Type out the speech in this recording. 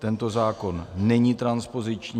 Tento zákon není transpoziční.